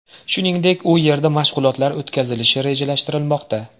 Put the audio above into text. Shuningdek, u yerda mashg‘ulotlar o‘tkazilishi rejalashtirilmoqda.